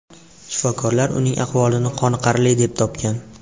Shifokorlar ularning ahvolini qoniqarli deb topgan.